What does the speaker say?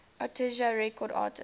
arista records artists